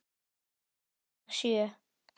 Alla vega sjö.